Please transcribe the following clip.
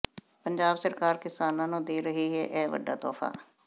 ਪੰਜਾਬ ਸਰਕਾਰ ਕਿਸਾਨਾਂ ਨੂੰ ਦੇ ਰਹੀ ਹੈ ਇਹ ਵੱਡਾ ਤੋਹਫ਼ਾ